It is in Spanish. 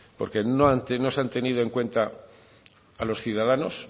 porque no se han tenido en cuenta a los ciudadanos